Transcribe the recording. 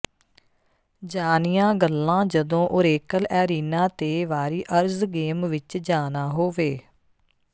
ਜਾਣੀਆਂ ਗੱਲਾਂ ਜਦੋਂ ਓਰੇਕਲ ਐਰੀਨਾ ਤੇ ਵਾਰੀਅਰਜ਼ ਗੇਮ ਵਿੱਚ ਜਾਣਾ ਹੋਵੇ